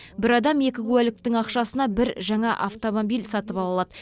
бір адам екі куәліктің ақшасына бір жаңа автомобиль сатып ала алады